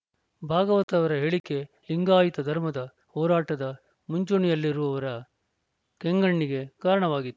ಭಾಗವತ ಅವರ ಹೇಳಿಕೆ ಲಿಂಗಾಯತ ಧರ್ಮದ ಹೋರಾಟದ ಮುಂಚೂಣಿಯಲ್ಲಿರುವವರ ಕೆಂಗಣ್ಣಿಗೆ ಕಾರಣವಾಗಿತ್ತು